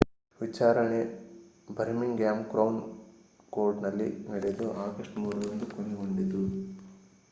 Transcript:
ವಿಚಾರಣೆ Birmingham Crown ಕೋರ್ಟ್‌ನಲ್ಲಿ ನಡೆದು ಆಗಸ್ಟ್ 3 ರಂದು ಕೊನೆಗೊಂಡಿತು